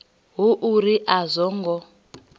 hu uri a zwo ngo